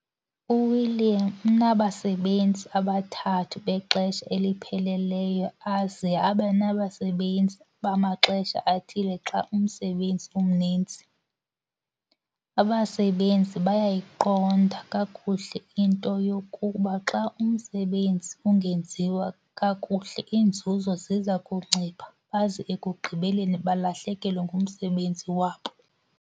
UWilliam unabasebenzi abathathu bexesha elipheleleyo aze abe nabasebenzi bamaxesha athile xa umsebenzi umninzi. Abasebenzi bayayiqonda kakuhle into yokuba xa umsebenzi ungenziwa kakuhle iinzuzo ziza kuncipha baze ekugqibeleni balahlekelwe ngumsebenzi wabo.